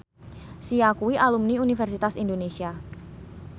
Sia kuwi alumni Universitas Indonesia